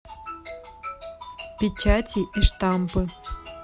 печати и штампы